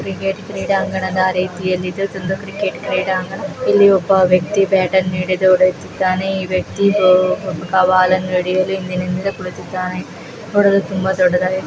Cricket ಕ್ರೀಡಾಂಗಣದ ರೀತಿಯಲ್ಲಿ ಇದು ಒಂದು ಕ್ರಿಕೆಟ್ ಕ್ರೀಡಾಂಗಣ ಇಲ್ಲಿ ಒಬ್ಬ ವ್ಯಕ್ತಿ ಬ್ಯಾಟ್ ಅನ್ನು ಹಿಡಿದು ಹೊಡೆಯುತಿದ್ದಾನೆ ಈ ವ್ಯಕ್ತಿ ಬಾಲ್ ಅನ್ನು ಹಿಂದಿನಿಂದಲು ಕುಳಿತಿದ್ದಾನೆ. ನೋಡಲು ತುಂಬಾ ದೊಡ್ಡದಾಗಿ--